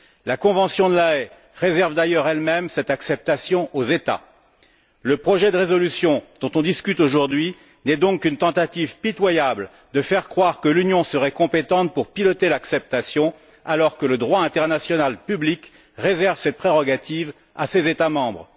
La convention de La Haye réserve d'ailleurs elle même cette décision aux États. Le projet de résolution dont on discute aujourd'hui n'est donc qu'une tentative pitoyable de faire croire que l'Union serait compétente pour piloter l'adhésion, alors que le droit international public réserve cette prérogative à ses États membres.